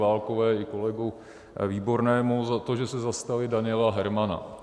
Válkové i kolegovi Výbornému za to, že se zastali Daniela Hermana.